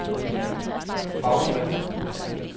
Bagsværd